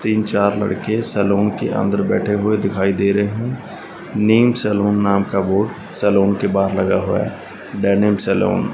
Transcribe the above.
तीन चार लड़के सैलून के अंदर बैठे हुए दिखाई दे रहे हैं नेम सैलून नाम का बोर्ड सैलॉन के बाहर लगा हुआ है डेनिम सैलून ।